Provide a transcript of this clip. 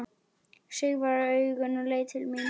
Sigvarður augun og leit til mín.